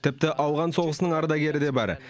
тіпті ауған соғысының ардагері де бар